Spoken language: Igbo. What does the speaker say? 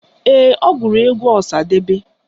Ee, ọ gụrụ egwu Ọsadebe